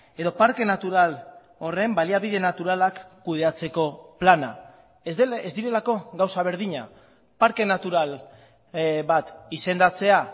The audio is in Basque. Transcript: edo parke natural horren baliabide naturalak kudeatzeko plana ez direlako gauza berdina parke natural bat izendatzea